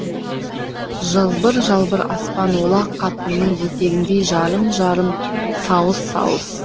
жалбыр жалбыр аспан олақ қатынның етегіндей жарым жарым сауыс сауыс